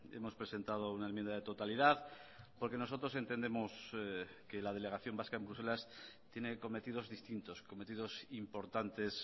hemos presentado una enmienda de totalidad porque nosotros entendemos que la delegación vasca en bruselas tiene cometidos distintos cometidos importantes